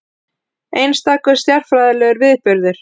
Einstakur stjarnfræðilegur viðburður